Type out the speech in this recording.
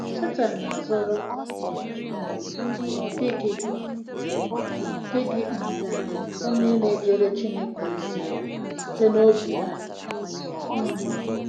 Setan na-azọrọ um na ọ dịghị dịghị um onye na-ejere Chineke ozi site n'obi ya um.